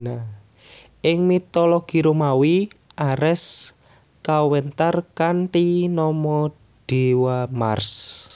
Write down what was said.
Ing mitologi Romawi Ares kawentar kanthi nama dewa Mars